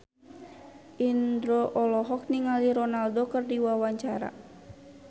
Indro olohok ningali Ronaldo keur diwawancara